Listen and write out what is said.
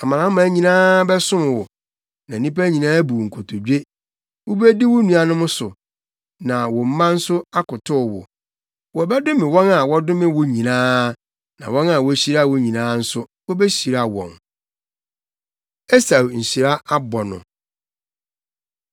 Amanaman bɛsom wo, na nnipa nyinaa abu wo nkotodwe. Wubedi wo nuanom so, na wo na mma nso akotow wo. Wɔbɛdome wɔn a wɔdome wo nyinaa, na wɔn a wohyira wo nyinaa nso, wobehyira wɔn.” Esau Nhyira Abɔ No